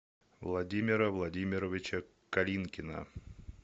владимира владимировича калинкина